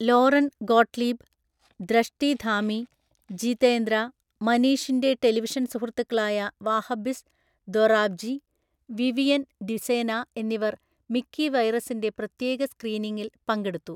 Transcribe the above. Lauren Gottlieb, Drashti Dhami, Jeetendra, മനീഷിൻ്റെ television സുഹൃത്തുക്കളായ Vahbbiz Dorabji, Vivian Dsena എന്നിവർ മിക്കി വൈറസിൻ്റെ പ്രത്യേക സ്ക്രീനിംഗിൽ പങ്കെടുത്തു.